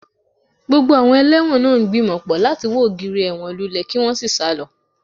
Gbogbo àwọn ẹlẹ́wọ̀n náà ń gbìmọ̀ pọ̀ láti wo ògiri ẹ̀wọ̀n lulẹ̀ kí wọ́n sì sá lọ